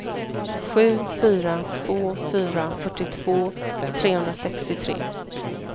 sju fyra två fyra fyrtiotvå trehundrasextiotre